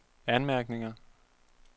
anmærkninger